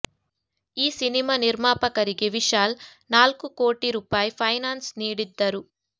ಈ ಸಿನಿಮಾ ನಿರ್ಮಾಪಕರಿಗೆ ವಿಶಾಲ್ ನಾಲ್ಕು ಕೋಟಿ ರುಪಾಯಿ ಫೈನಾನ್ಸ್ ನೀಡಿದ್ದರು